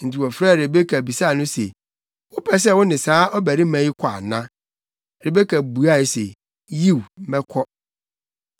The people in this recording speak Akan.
Enti wɔfrɛɛ Rebeka bisaa no se, “Wopɛ sɛ wo ne saa ɔbarima yi kɔ ana?” Rebeka buae se, “Yiw, mɛkɔ!”